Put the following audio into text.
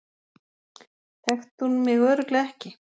Þekkti hún mig örugglega ekki?